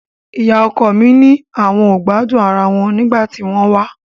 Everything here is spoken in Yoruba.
Ìyá ọkọ mi ni àwọn ò gbádùn ara wọn nígbà tí wọ́n wá